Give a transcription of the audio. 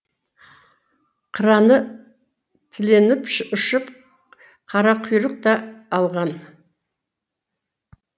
қыраны тіленіп ұшып қарақұйрық та алған